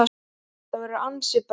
Það verður ansi bratt.